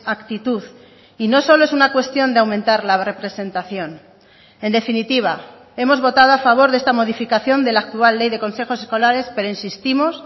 actitud y no solo es una cuestión de aumentar la representación en definitiva hemos votado a favor de esta modificación de la actual ley de consejos escolares pero insistimos